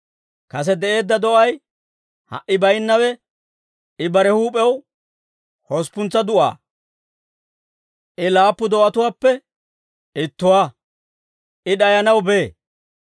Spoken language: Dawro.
Kase de'eedda do'ay, ha"i baynnawe, I bare huup'ew hosppuntsa du'aa. I laappu do'atuwaappe ittuwaa; I d'ayanaw bee.